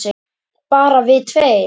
Bara við tveir?